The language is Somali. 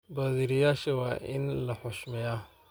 Badhiriyasha wa in la xushmeya.